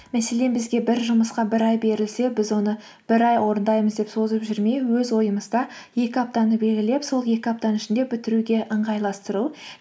мәселен бізге бір жұмысқа бір ай берілсе біз оны бір ай орындаймыз деп созып жүрмей өз ойымызда екі аптаны белгілеп сол екі аптаның ішінде бітіруге ыңғайластыру